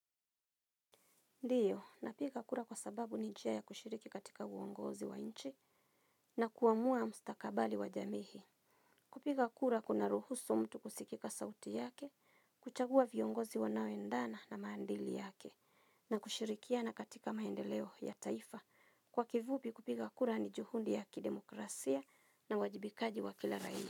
Ndiyo, napiga kura kwa sababu ni njia ya kushiriki katika uongozi wa inchi na kuamua mstakabali wa jamii. Kupiga kura kuna ruhusu mtu kusikika sauti yake, kuchagua viongozi wanaoendana na maandili yake, na kushirikiana katika maendeleo ya taifa. Kwa kivupi kupiga kura ni juhundi ya kidemokrasia na wajibikaji wa kila raia.